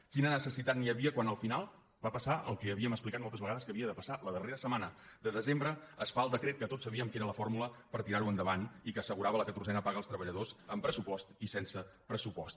quina necessitat hi havia quan al final va passar el que havíem explicat mol·tes vegades que havia de passar la darrera setmana de desembre es fa el decret que tots sabíem que era la fórmula per tirar·ho endavant i que assegurava la ca·torzena paga als treballadors amb pressupost i sense pressupost